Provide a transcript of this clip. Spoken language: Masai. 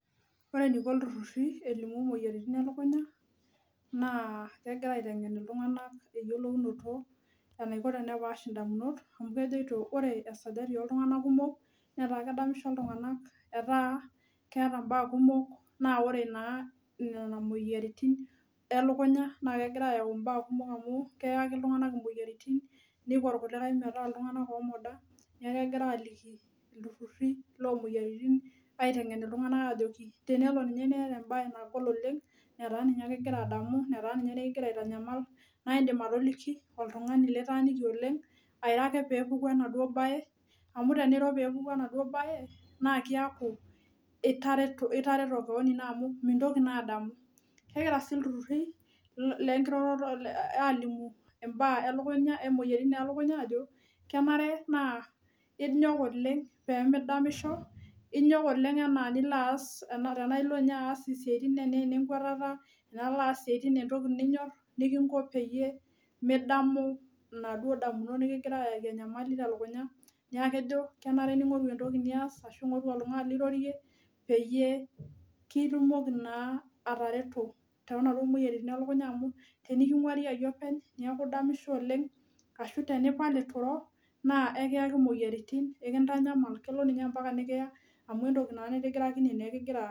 Ore eniko ilturrurri elimu moyiaritin e lukunya naa kegira aiteng'en eyiolounoto, enaiko tenepaash indamunot amu kejoito ore esajati ooltung'anak kumok netaa kedamisho iltung'anak, etaa keeta imbaak kumok. Naa ore naa nena moyiaritin e lukunya naa kegira ayau imbaak kumok amu keyaki iltung'anak imwoyiaritin, niko irkulikae metaa iltung'anak oomoda. Neeku egira aaliki ilturrurri loomwoyiaritin aiteng'en iltung'anak ajoki tenemeeta embae nagol oleng netaa ninye ake igira adamu, netaa ninye nekigira aitanyamal naindim atoliki oltung'ani litaaniki oleng, airo ake peepuku enaduo bae amu teniro peepuku enaduo bae naa keaku itareto keon ino amu mintoki naa. Kegira sii ilturrurri lenkiroroto aalimu imbaak e lukunya, emwoyiaritin e lukunya ajo kenare naa inyok oleng peemidamisho, inyok oleng enaa nilo aas isiaitin enaa inenkwetata, nilo aas isiaitin entoki ninyorr nikinko peyie midamu inaduo damunot nekigira aayaki enyamali telukunya. Niaku ejo kenare ning'oru entoki nias ashu ing'oru oltung'ani lirorie peyie kitumoki naa atareto toonopa moyiaritin e lukunya amu teniking'wari oepny niaku idamisho oleng ashu teniton etu iro naa aikiyaki imoyiaritin, ai kintanyamal enaa kelo ninye ompaka nikiya amu entoki naa nitigirakine nekigira.